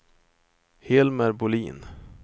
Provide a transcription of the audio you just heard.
Hilmer Bolin